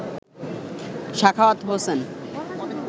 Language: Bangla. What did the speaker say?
সাখাওয়াত হোসেন